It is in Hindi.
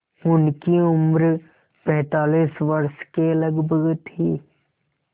उनकी उम्र पैंतालीस वर्ष के लगभग थी